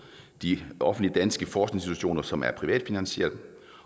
de offentlige danske forskningsinstitutioner som er privatfinansierede